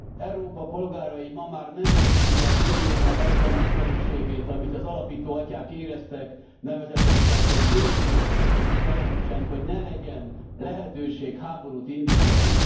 Európa polgárai ma már nem érzik az Uniónak azt a nagyszerűségét, amit az alapító atyák éreztek, nevezetesen, hogy békét teremtsen, hogy ne legyen lehetőség háborút indítani.